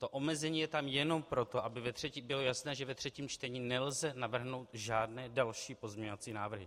To omezení je tam jenom proto, aby bylo jasné, že ve třetím čtení nelze navrhnout žádné další pozměňovací návrhy.